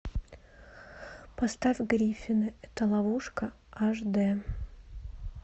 поставь гриффины это ловушка аш дэ